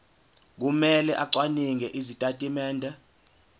kumele acwaninge izitatimende